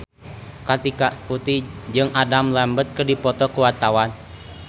Kartika Putri jeung Adam Lambert keur dipoto ku wartawan